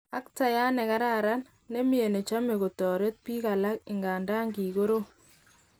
Actayat nekaran, nemie nechome kotoret bik alak ingandan kikorom.